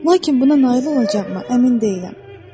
Lakin buna nail olacağam mı, əmin deyiləm.